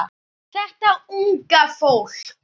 Þetta unga fólk.